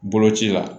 Boloci la